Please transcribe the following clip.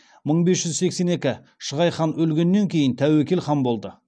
мың бес жүз сексен екі шығай хан өлгеннен кейін тәуекел хан болды